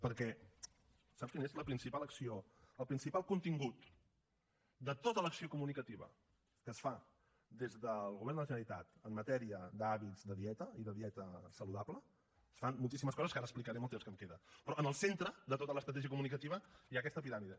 perquè saps quina és la principal acció el principal contingut de tota l’acció comunicativa que es fa des del govern de la generalitat en matèria d’hàbits de dieta i de dieta saludable es fan moltíssimes coses que ara explicaré amb el temps que em queda però en el centre de tota l’estratègia comunicativa hi ha aquesta piràmide